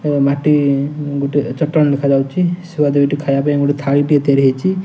ଏ ମାଟି ଗୋଟେ ଚଟାଣ ଦେଖାଯାଉଛି ଶୁଆ ଦୁଇଟି ଖାଇବା ପାଇଁ ଗୋଟେ ଥାଳି ଟିଏ ତିଆରି ହେଇଛି।